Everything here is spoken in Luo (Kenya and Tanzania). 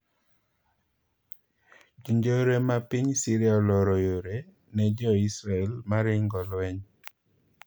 Jo njore ma piny Syria oloro yore ne jo IS mar ringo lweny.